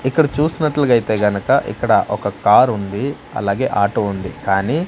ఇక్కడ చూసినట్లయితే గనక ఇక్కడ ఒక కారు ఉంది అలాగే ఆటో ఉంది కానీ.